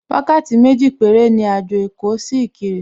Wákàtí méjì péré ni àjò èkó sí Ìkirè